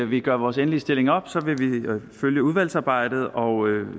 vi gør vores endelige stilling op vil vi følge udvalgsarbejdet og